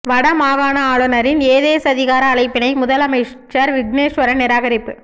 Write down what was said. வட மாகாண ஆளுநரின் ஏதேச்சதிகார அழைப்பினை முதலமைச்சர் விக்னேஸ்வரன் நிராகரிப்பு